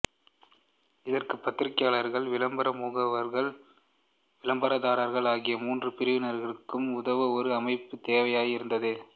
இதற்கு பத்திரிகையாளர்கள் விளம்பர முகவர்கள் விளம்பரதாரர் ஆகிய மூன்று பிரிவினருக்கும் உதவ ஒரு அமைப்பு தேவையாய் இருந்தது